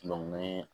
ni ye